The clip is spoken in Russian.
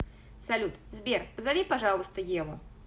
салют сбер позови пожалуйста еву